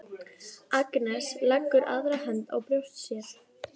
Agnes leggur aðra hönd á brjóst sér.